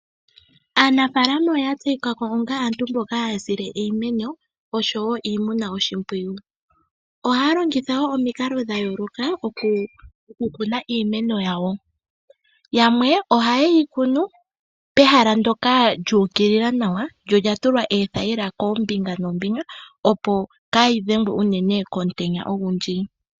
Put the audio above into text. Aanafaalama oya tseyika ko onga aantu mboka haya sile iimeno oshowo iimuna oshimpwiyu. Ohaya longitha wo omikalo dha yooloka oku kuna iimeno yawo, yamwe ohaye yi kunu pehala ndoka lyu ukilila nawa lyo olya tulwa oothaila koombinga noombinga, opo kaayi dhengwe unene komutenya ogundji.